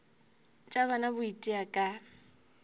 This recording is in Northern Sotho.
bja tšona bo itia ka